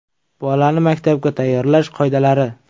Bolani maktabga tayyorlash qoidalari.